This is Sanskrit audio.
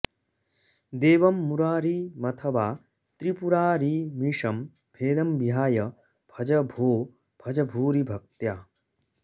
देवं मुरारिमथ वा त्रिपुरारिमीशं भेदं विहाय भज भो भज भूरि भक्त्या